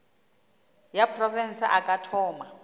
ya profense a ka thoma